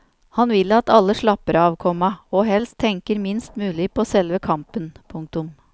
Han vil at alle slapper av, komma og helst tenker minst mulig på selve kampen. punktum